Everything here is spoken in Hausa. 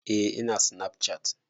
Eh ina sinafcat